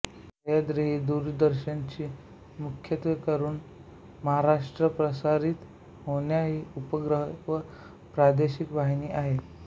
सह्याद्री ही दूरदर्शन ची मुख्यत्वेकरुन महाराष्ट्रात प्रसारित होणाही उपग्रह व प्रादेशिक वाहिनी आहे